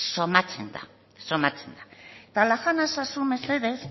somatzen da eta laga nazazu mesedez